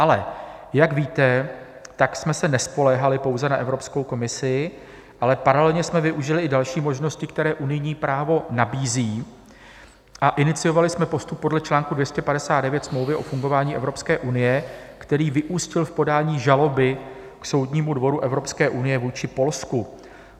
Ale jak víte, tak jsme se nespoléhali pouze na Evropskou komisi, ale paralelně jsme využili i další možnosti, které unijní právo nabízí, a iniciovali jsme postup podle článku 259 smlouvy o fungování Evropské unie, který vyústil v podání žaloby k Soudnímu dvoru Evropské unie vůči Polsku.